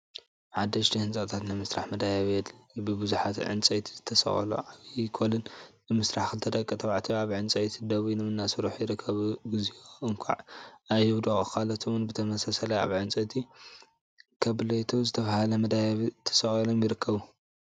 ሓደሽቲ ህንፃታት ንምስራሕ መደያየቢ የድሊ፡፡ ብቡዙሓት ዕንፀይቲ ዝተሰቀሉ ዓብይ ኮለን ንምስራሕ ክልተ ደቂ ተባዕትዮ አብቲ ዕንፀይቲ ደይቦም እናሰርሑ ይርከቡ፡፡ እግዚኦ! እንኳዕ አይወድቁ! ካልኦት እውን ብተመሳሳሊ አብ ዕንፀይቲ/ከብሌቶ ዝተብሃለ መደያየቢ ተሰቂሎም ይርከቡ፡፡